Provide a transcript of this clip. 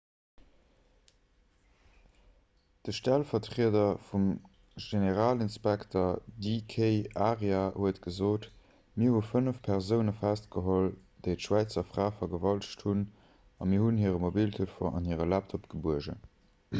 de stellvertrieder vum generalinspekter d k arya huet gesot mir hu fënnef persoune festgeholl déi d'schwäizer fra vergewaltegt hunn a mir hunn hire mobiltelefon an hire laptop gebuergen